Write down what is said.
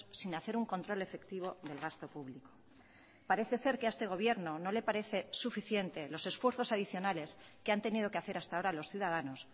sin hacer un control efectivo del gasto público parece ser que a este gobierno no le parece suficiente los esfuerzos adicionales que han tenido que hacer hasta ahora los ciudadanos